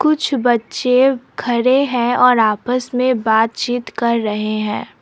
कुछ बच्चे खड़े हैं और आपस में बातचीत कर रहे हैं।